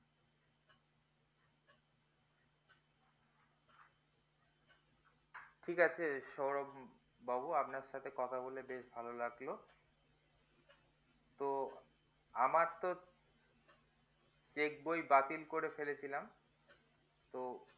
ঠিক আছে সৌরভ বাবু আপনার সাথে কথা বলে বেশ ভালো লাগলো তো আমার তো যে check বই বাতিল করে ফেলেছিলাম তো